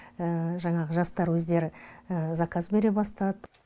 жаңағы жастар өздері заказ бере бастады